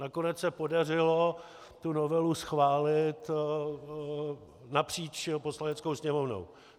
Nakonec se podařilo tu novelu schválit napříč Poslaneckou sněmovnou.